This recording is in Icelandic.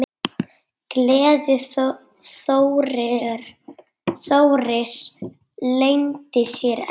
Gleði Þóris leyndi sér ekki.